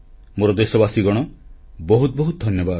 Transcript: ମୋର ଦେଶବାସୀଗଣ ବହୁତ ବହୁତ ଧନ୍ୟବାଦ